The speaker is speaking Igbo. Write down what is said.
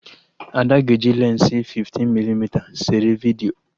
Ada ga-eji lensi 15mm sere vidiyo